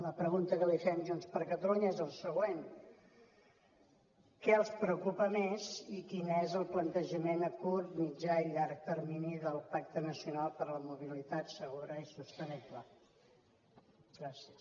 la pregunta que li fem junts per catalunya és la següent què els preocupa més i quin és el plantejament a curt mitjà i llarg termini del pacte nacional per la mobilitat segura i sostenible gràcies